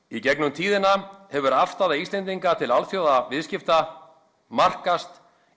í gegnum tíðina hefur afstaða Íslendinga til alþjóðaviðskipta markast